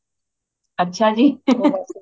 ਅੱਛਾ ਜੀ